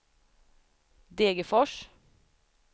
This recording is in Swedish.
Degerfors